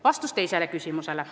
Vastus teisele küsimusele.